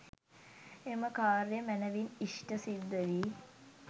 එම කාර්යය මැනවින් ඉෂ්ඨ සිද්ධ වී